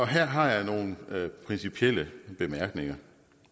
her har jeg nogle principielle bemærkninger